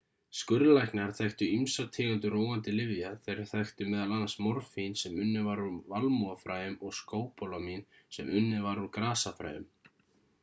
skurðlæknar þekktu ýmsar tegundir róandi lyfja þeir þekktu m.a. morfín sem unnið var úr valmúafræjum og skópólamín sem unnið var úr grasafræjum